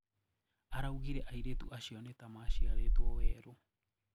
Araugire airĩtu açio nita maciarĩtwo werũ.